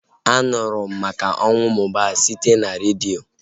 A nụrụ m maka ọnwụ Mohbad site n'redio